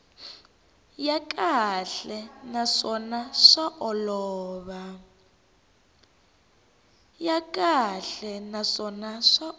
ya kahle naswona swa olova